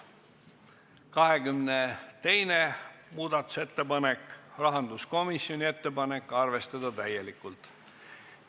22. muudatusettepanek, rahanduskomisjoni ettepanek: arvestada täielikult.